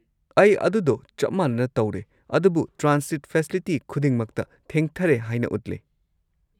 ꯑꯩ ꯑꯗꯨꯗꯣ ꯆꯞ ꯃꯥꯅꯅ ꯇꯧꯔꯦ, ꯑꯗꯨꯕꯨ ꯇ꯭ꯔꯥꯟꯁꯤꯠ ꯐꯦꯁꯤꯂꯤꯇꯤ ꯈꯨꯗꯤꯡꯃꯛꯇ ꯊꯦꯡꯊꯔꯦ ꯍꯥꯏꯅ ꯎꯠꯂꯦ꯫